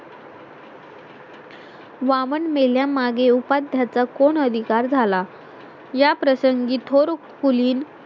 वामन मेल्या मागें उपाध्या चा कोण अधिकार झाला ह्या प्रसंगी थोर खुली